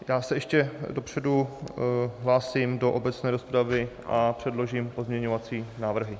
Já se ještě dopředu hlásím do obecné rozpravy a předložím pozměňovací návrhy.